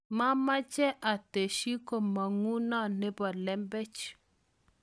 mameche atesyi kamong'uno nebo lembech.